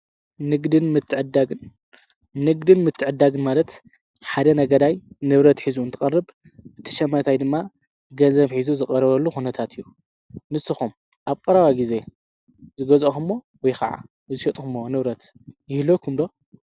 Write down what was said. ንግድን ምትዕዳግን ማለት ሓደ ነገዳይ ንብረት ኂዙ ን ትቐርብ እቲ ሸመታይ ድማ ገንዘብ ኂዙ ዝቐረበሉ ኾነታት እዩ ።ንስኹም ኣብ ቈራባ ጊዜ ዝጐዛኹ ሞ ወይ ኸዓ ብዝሸጡኹእሞ ንብረት ይህለኩምዶ?